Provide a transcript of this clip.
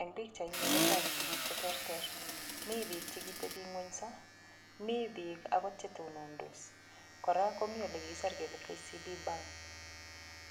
Eng' pikchaini kotoku tukuk cheterter mi biik chekiteping'wenso mi biik akot chetonondos kora komi olikikiser kele KCB bank